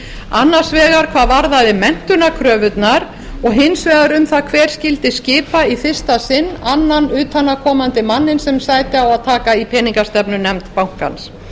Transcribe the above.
annars vegar hvað varðaði menntunarkröfurnar og hins vegar um það hver skyldi skipa í fyrsta sinn annan utanaðkomandi manninn sem sæti á að taka í peningastefnunefnd bankans